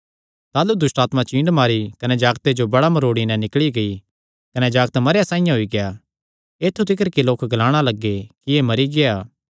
ताह़लू दुष्टआत्मा चींड मारी कने जागते जो बड़ा मरोड़ी नैं निकल़ी गेई कने जागत मरेयां साइआं होई गेआ ऐत्थु तिकर कि लोक ग्लाणा लग्गे कि सैह़ मरी गेआ